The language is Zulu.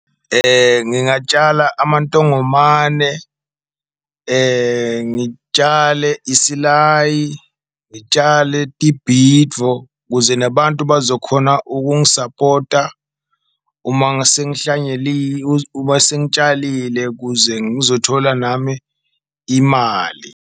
Ngingatshala amantongomane, ngitshale isilayi, ngitshale tibhitfo kuze nabantu bazokhona ukungisapota uma , uma sengitshalile kuze ngizothola nami imali.